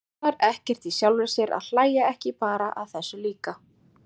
Botnar ekkert í sjálfri sér að hlæja ekki bara að þessu líka.